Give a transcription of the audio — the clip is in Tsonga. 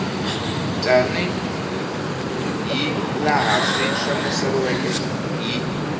tanihi laha swi hlamuseriweke hi